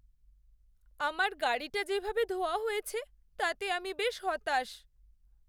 আমার গাড়িটা যেভাবে ধোয়া হয়েছে তাতে আমি বেশ হতাশ।